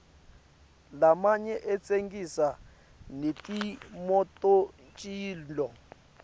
lamanye atsengisa netimototincola